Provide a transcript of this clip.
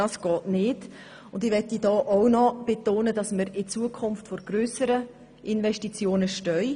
Ich möchte betonen, dass wir nun vor grösseren Investitionen stehen.